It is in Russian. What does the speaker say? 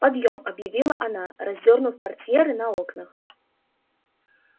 подъём объявила она раздёрнув портьеры на окнах